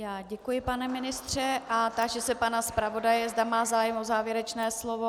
Já děkuji, pane ministře, a táži se pana zpravodaje, zda má zájem o závěrečné slovo.